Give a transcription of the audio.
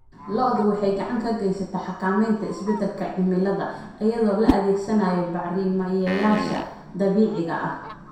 Lo'du waxay gacan ka geysataa xakamaynta isbeddelka cimilada iyadoo la adeegsanayo bacrimiyeyaasha dabiiciga ah.